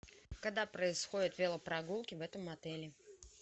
когда происходят велопрогулки в этом отеле